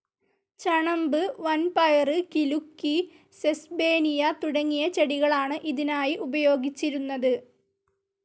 ചണമ്പ്, വൻപയറ്, കിലുക്കി, സെസ്ബേനിയ തുടങ്ങിയ ചെടികളാണ് ഇതിനായി ഉപയോഗിച്ചിരുന്നത്.